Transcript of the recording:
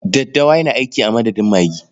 Daddawa yana aiki a madadin magi.